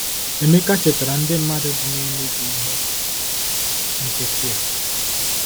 Emeka chetara ndị mmadụ dị na Enugu ihe nkịtị a.